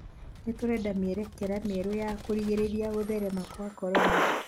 Nĩtũrenda mĩerekera mĩerũ ya kũrigĩrĩria gũtherema kwa korona